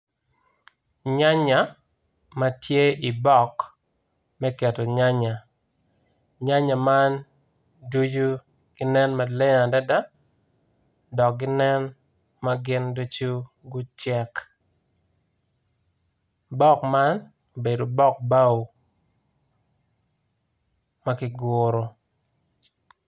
Nya nya matye i bok me keto nyanya nyanya man ducu ginen maleng adada dok ginen magin ducu gucek bok man obedo bok bao makiguro.